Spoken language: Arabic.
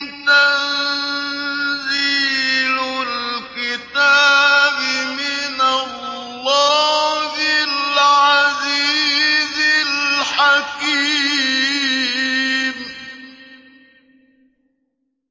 تَنزِيلُ الْكِتَابِ مِنَ اللَّهِ الْعَزِيزِ الْحَكِيمِ